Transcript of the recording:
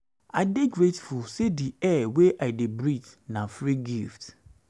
i dey grateful say di air wey i dey breathe na free gift